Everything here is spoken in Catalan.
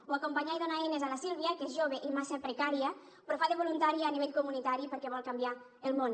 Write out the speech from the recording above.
o acompanyar i donar eines a la sílvia que és jove i massa precària però fa de voluntària a nivell comunitari perquè vol canviar el món